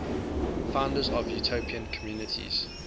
founders of utopian communities